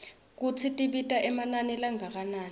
kutsi tibita emanani langakanani